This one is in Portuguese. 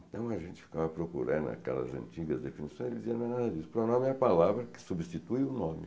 Então a gente ficava procurando aquelas antigas definições e eles dizia não pronome é a palavra que substitui o nome.